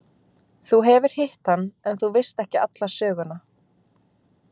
Þú hefur hitt hann en þú veist ekki alla söguna.